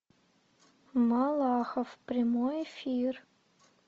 малахов прямой эфир